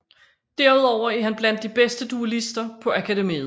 Derudover er han blandt de bedste duelister på akademiet